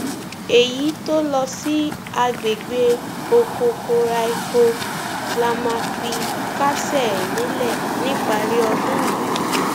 èyí tó lọ sí àgbègbè okokomaiko la máa fi kásẹ ẹ nílẹ níparí ọdún yìí